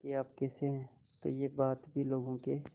कि आप कैसे हैं तो यह बात भी लोगों के